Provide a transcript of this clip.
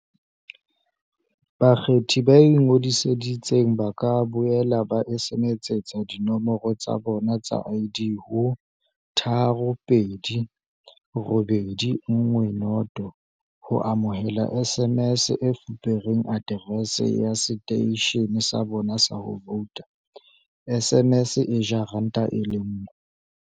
Bakgethi ba ingodisitseng ba ka boela ba SMSetsa dinomoro tsa bona tsa ID ho 32810 ho amohela SMS e fupereng aterese ya seteishene sa bona sa ho vouta, SMS e ja R1.